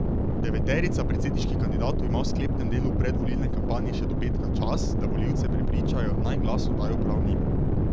Deveterica predsedniških kandidatov ima v sklepnem delu predvolilne kampanje še do petka čas, da volivce prepričajo, naj glas oddajo prav njim.